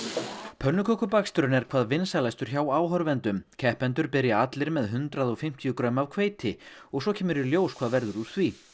pönnukökubaksturinn er hvað vinsælastur hjá áhorfendum keppendur byrja allir með hundrað og fimmtíu grömm af hveiti og svo kemur í ljós hvað verður úr því